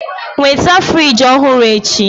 Nweta fịrij ọhụrụ echi!